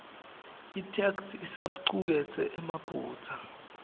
itheksthi isacuketse emaphutsa